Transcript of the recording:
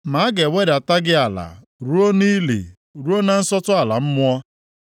Ma a ga-ewedata gị ala ruo nʼili, ruo na nsọtụ ala mmụọ.